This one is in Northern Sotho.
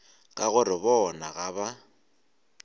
ka gore bona ga ba